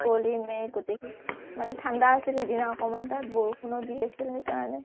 কুঁৱলী মেঘ গোটেইখিনি মানে ঠাণ্ডা আছিল সিদিনা অকণমান তাতে বৰষুণনো দি আছিল সেইকাৰণে